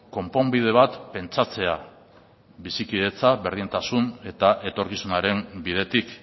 konponbide bat pentsatzea bizikidetza berdintasun eta etorkizunaren bidetik